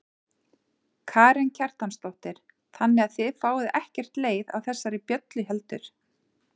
Karen Kjartansdóttir: Þannig að þið fáið ekkert leið á þessari bjöllu heldur?